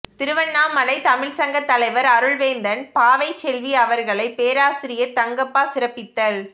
திருவண்ணாமலைத் தமிழ்ச்சங்கத் தலைவர் அருள்வேந்தன் பாவைச்செல்வி அவர்களைப் பேராசிரியர் தங்கப்பா சிறப்பித்தல்